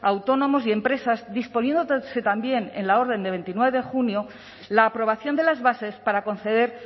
a autónomos y empresas disponiéndose también en la orden de veintinueve de junio la aprobación de las bases para conceder